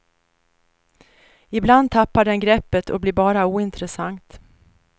Ibland tappar den greppet och blir bara ointressant.